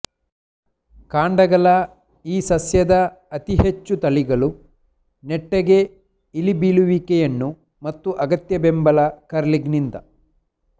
ಕಾಂಡಗಳ ಈ ಸಸ್ಯದ ಅತಿ ಹೆಚ್ಚು ತಳಿಗಳು ನೆಟ್ಟಗೆ ಇಳಿಬೀಳುವಿಕೆಯನ್ನು ಮತ್ತು ಅಗತ್ಯ ಬೆಂಬಲ ಕರ್ಲಿಂಗ್ನಿಂದ